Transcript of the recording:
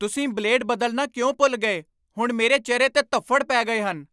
ਤੁਸੀਂ ਬਲੇਡ ਬਦਲਣਾ ਕਿਉਂ ਭੁੱਲ ਗਏ? ਹੁਣ ਮੇਰੇ ਚਿਹਰੇ 'ਤੇ ਧੱਫ਼ੜ ਪੈ ਗਏ ਹਨ!